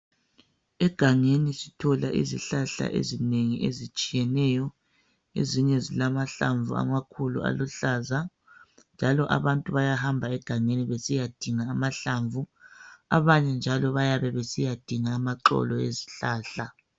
Egangeni sithola izihlahla ezinengi ezitshiyeneyo ezinye zilamahlamvu amakhulu aluhlaza njalo abantu bayahamba egangeni besiya dinga amahlamvu abanye njalo bayabe besiyadinga amaxolo ezihlahla.